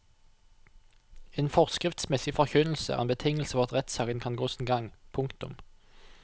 En forskriftsmessig forkynnelse er en betingelse for at rettssaken kan gå sin gang. punktum